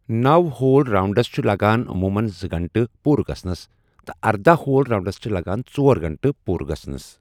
نوَ ہول راؤنڈَس چھُ لَگان عموٗمَن زٕ گھنٛٹہٕ پوٗرٕ گژھَنَس تہٕ ارداہ ہول راؤنڈَس چھِ لَگان ژۄر گھنٛٹہٕ پوٗرٕ گژھَنَس۔